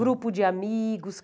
Grupo de amigos?